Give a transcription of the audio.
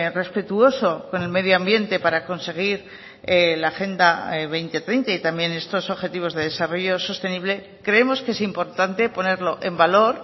respetuoso con el medio ambiente para conseguir la agenda dos mil treinta y también estos objetivos de desarrollo sostenible creemos que es importante ponerlo en valor